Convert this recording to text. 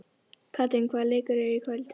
Katrín, hvaða leikir eru í kvöld?